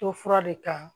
To fura de kan